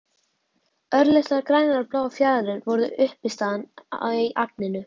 Örlitlar grænar og bláar fjaðrir voru uppistaðan í agninu.